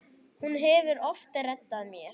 Hún hefur oft reddað mér.